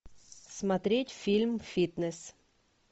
смотреть фильм фитнес